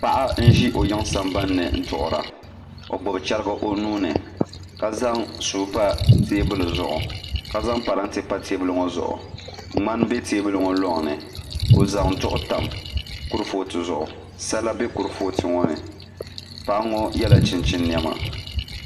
Paɣa n ʒi o yiŋ sambanni duɣura o gbubi chɛrigi o nuuni ka zaŋ suu n pa dizuɣu ka zaŋ parantɛ pa teebuli ŋo zuɣu ŋmani bɛ teebuli loŋni o zaŋ duɣu tam kurifooti zuɣu sala bɛ kurifooti ŋo ni paɣa ŋo yɛla chinchin niɛma